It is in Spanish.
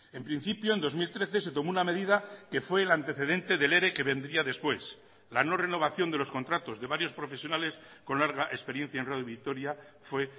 en principio en dos mil trece se tomó una medida que fue el antecedente del ere que vendría después la no renovación de los contratos de varios profesionales con larga experiencia en radio vitoria fue